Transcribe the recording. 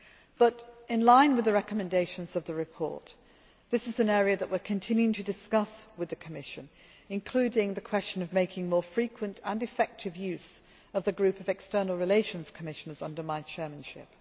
But, in line with the recommendations of the report, this is an area that we are continuing to discuss with the Commission, including the question of making more frequent and effective use of the group of External Relations Commissioners under my chairmanship.